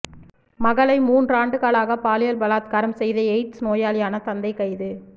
மகளை மூன்றாண்டுகளாக பாலியல் பலாத்காரம் செய்த எய்ட்ஸ் நோயாளியான தந்தை கைது